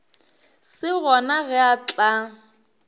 se gona ge a tla